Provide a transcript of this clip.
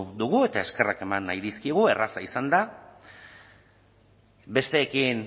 dugu eta eskerrak eman nahi dizkiogu erraza izan da besteekin